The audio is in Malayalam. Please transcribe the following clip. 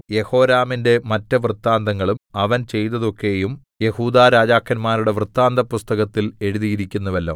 യെഹോരാമിന്റെ മറ്റ് വൃത്താന്തങ്ങളും അവൻ ചെയ്തതൊക്കെയും യെഹൂദാ രാജാക്കന്മാരുടെ വൃത്താന്തപുസ്തകത്തിൽ എഴുതിയിരിക്കുന്നുവല്ലോ